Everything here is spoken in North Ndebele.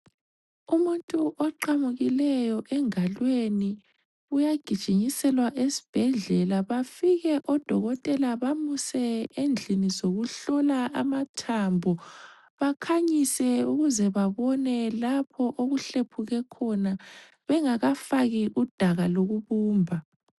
Umuntu oqamukileyo engalweni uyagijinyiselwa esibhedlela. Bafike oDokotela bamuse endlini zokuhlola amathambo bakhanyise ukuze babone lapho okuhlephuke khona bengakafaki udaka lokubumba .